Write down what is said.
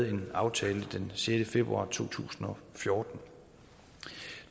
en aftale den sjette februar to tusind og fjorten